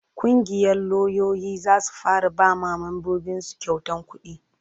ƙungiyar lauyoyi za su fara ba mambobin su kyautan kudi